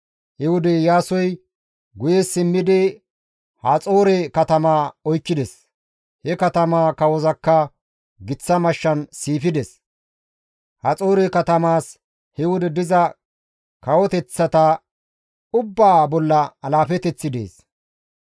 He wode Iyaasoy guye simmidi Haxoore katamaa oykkides; he katamaa kawozakka giththa mashshan siifides; Haxoore katamaas he wode diza kawoteththata ubbaa bolla alaafeteththi dees.